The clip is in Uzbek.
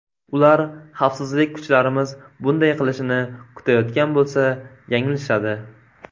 Ular xavfsizlik kuchlarimiz bunday qilishini kutayotgan bo‘lsa, yanglishadi.